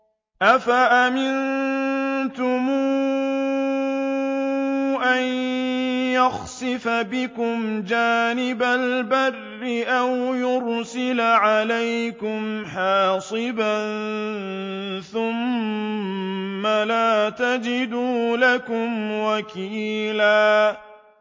أَفَأَمِنتُمْ أَن يَخْسِفَ بِكُمْ جَانِبَ الْبَرِّ أَوْ يُرْسِلَ عَلَيْكُمْ حَاصِبًا ثُمَّ لَا تَجِدُوا لَكُمْ وَكِيلًا